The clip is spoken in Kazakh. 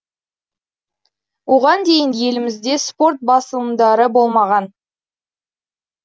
оған дейін елімізде спорт басылымдары болмаған